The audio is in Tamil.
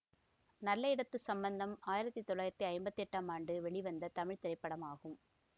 நல்ல இடத்து சம்பந்தம் ஆயிரத்தி தொள்ளாயிரத்தி ஐம்பத்தி எட்டாம் ஆண்டு வெளிவந்த தமிழ் திரைப்படமாகும்